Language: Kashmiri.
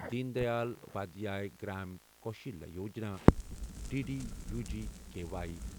Din Dayal Upadhyaya Grameen Kaushalya Yojana, D D U G K Y